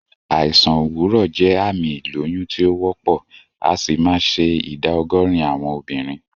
Àìsàn òwúrọ̀ jẹ́ àmì ìlóyún tí o wópò, asì ma se ìdá ogórín àwon obìrin